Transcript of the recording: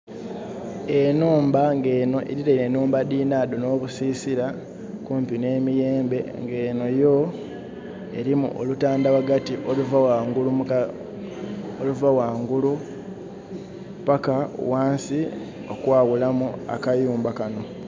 Enhumba nga enho erirainhe nhumba dhinhadho nh'obusisira, okumpi nh'emiyembe nga enho yo, erimu olutandha ghagati oluva ghangulu paka ghansi okwaghulamu akayumba kanho.